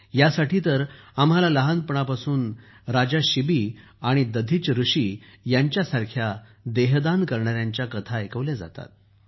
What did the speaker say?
यासाठी तर आम्हाला लहानपणापासून राजा शिबी आणि दधीच ऋषी यांच्यासारख्या देह दान करणाऱ्यांच्या कथा ऐकवल्या जातात